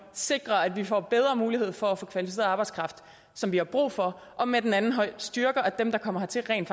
sikrer at vi får bedre mulighed for at få kvalificeret arbejdskraft som vi har brug for og med den anden hånd styrker at dem der kommer hertil rent